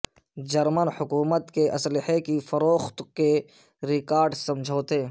German حکومت کے اسحلے کی فروخت کے ریکارڈ سمجھوتے